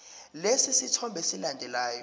lesi sithombe esilandelayo